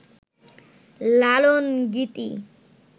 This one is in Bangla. লালনগীতি